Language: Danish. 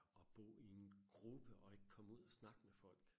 At bo i en gruppe og ikke komme ud og snakke med folk